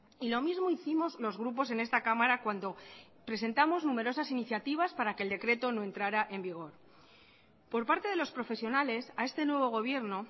y lo mismo hicimos los grupos en esta cámara cuando presentamos numerosas iniciativas para que el decreto no entrara en vigor por parte de los profesionales a este nuevo gobierno